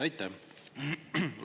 Aitäh!